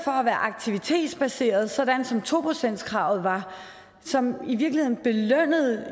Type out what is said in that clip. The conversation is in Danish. er aktivitetsbaseret sådan som to procentskravet var og som i virkeligheden belønnede